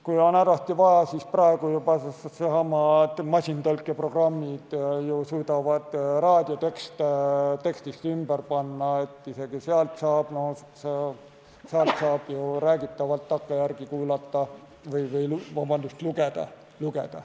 Kui on hädasti vaja, siis praegu juba needsamad masintõlkeprogrammid ju suudavad raadios kõnet tekstiks ümber panna, isegi seal saab räägitavat takkajärele lugeda.